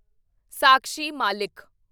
Sakshi Malik